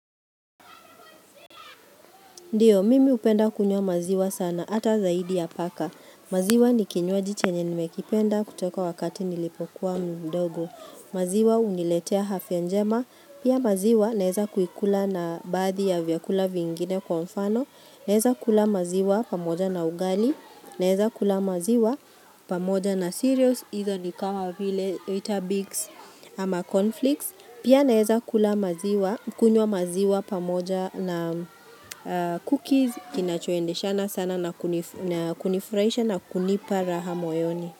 Ndio, mimi hupenda kunywa maziwa sana, hata zaidi ya paka. Maziwa ni kinywaji chenye nimekipenda kutoka wakati nilipokuwa mdogo. Maziwa huniletea afya njema. Pia maziwa naeza kuikula na baadhi ya vyakula vingine kwa mfano. Naeza kula maziwa pamoja na ugali. Naeza kula maziwa pamoja na cereals. Izo ni kama vile, weetabix ama cornflakes. Pia naweza kula maziwa, kunywa maziwa pamoja na cookies kinachoendeshana na sana na kunifurahisha na kunipa raha moyoni.